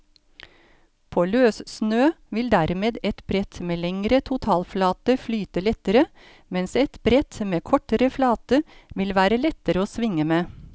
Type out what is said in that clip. På løssnø vil dermed et brett med lengre totalflate flyte lettere, mens et brett med kortere flate vil være lettere å svinge med.